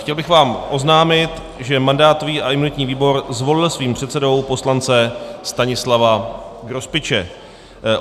Chtěl bych vám oznámit, že mandátový a imunitní výbor zvolil svým předsedou poslance Stanislava Grospiče.